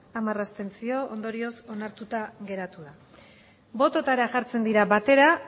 hamar abstentzio ondorioz onartuta geratu da botoetara jartzen dira batera